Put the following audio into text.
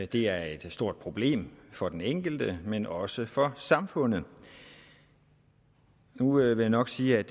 det er et stort problem for den enkelte men også for samfundet nu vil jeg nok sige at